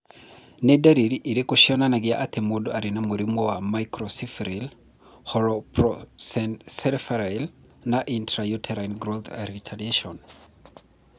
Nĩ ndariri irĩkũ cionanagia atĩ mũndũ arĩ na mũrimũ wa Microcephaly, holoprosencephaly, na intrauterine growth retardation?